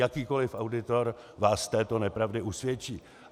Jakýkoliv auditor vás z této nepravdy usvědčí.